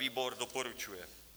Výbor doporučuje.